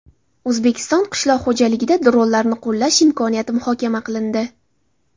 O‘zbekiston qishloq xo‘jaligida dronlarni qo‘llash imkoniyati muhokama qilindi.